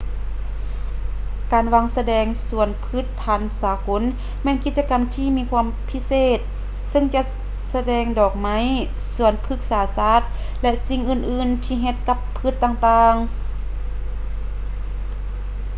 ການວາງສະແດງສວນພືດພັນສາກົນແມ່ນກິດຈະກຳທີ່ມີຄວາມພິເສດເຊິ່ງຈັດສະແດງດອກໄມ້ ສວນພືກສາສາດ ແລະ ສິ່ງອື່ນໆທີ່ເຮັດກັບພືດຕ່າງໆ